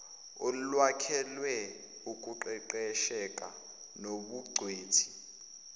olwakhelwe ukuqeqesheka nobungcweti